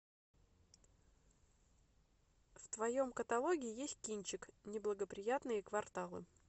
в твоем каталоге есть кинчик неблагоприятные кварталы